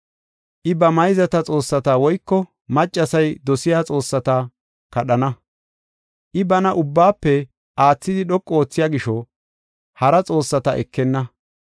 I, ba mayzata xoossata woyko maccasay dosiya xoossata kadhana. I bana ubbaafe aathidi dhoqu oothiya gisho, hara xoossata ekenna.